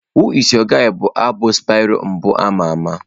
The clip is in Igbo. Who is your guy' bụ abụ Spyro mbụ ama ama.